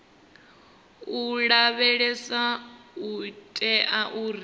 u lavheleswa u itela uri